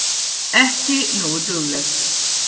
Ekki nógu dugleg.